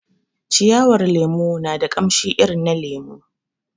Ciyawar lemon na da kamshi irin na lemu